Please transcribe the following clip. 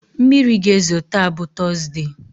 Mmiri ga-ezo taa bụ tọzdee.